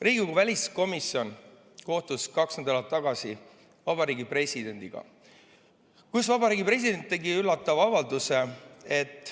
Riigikogu väliskomisjon kohtus kaks nädalat tagasi Eesti Vabariigi presidendiga ja president tegi üllatava avalduse.